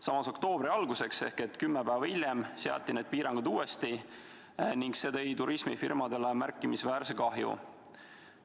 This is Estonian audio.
Samas, oktoobri alguses ehk kümme päeva hiljem seati need piirangud uuesti ning see tõi turismifirmadele kaasa märkimisväärse kahju.